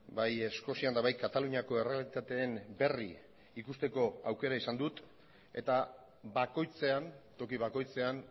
bai eskozian eta bai kataluniako errealitateen berri ikusteko aukera izan dut eta bakoitzean toki bakoitzean